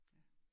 Ja